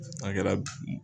A kɛra